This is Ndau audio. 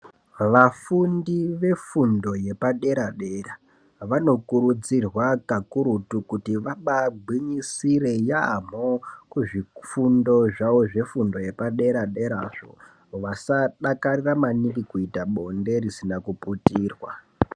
Vafundi vefundo yepadera dera vanokurudzirwa kakurutu kuti vabaagwinyisire yaambho kuzvifundo zvavo zvefundo yepaderaderazvo vasadakarira maningi kuita bonde risina kuputirwa.